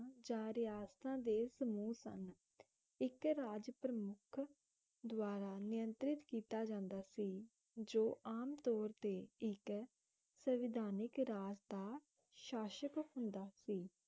ਜਾਂ ਰਿਆਸਤਾਂ ਦੇ ਸਮੂਹ ਸਨ ਇੱਕ ਰਾਜ ਪ੍ਰਮੁੱਖ ਦਵਾਰਾ ਨਿਯੰਤ੍ਰਿਤ ਕੀਤਾ ਜਾਂਦਾ ਸੀ ਜੋ ਆਮ ਤੌਰ ਤੇ ਸੰਵਿਧਾਨਿਕ ਰਾਜ ਦਾ ਸ਼ਾਸ਼ਕ ਹੁੰਦਾ ਸੀ